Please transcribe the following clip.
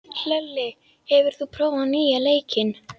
Hlölli, hefur þú prófað nýja leikinn?